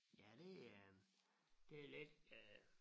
Ja det øh det lidt øh